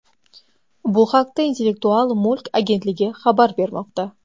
Bu haqda Intellektual mulk agentligi xabar bermoqda .